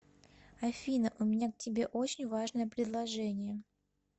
афина у меня к тебе очень важное предложение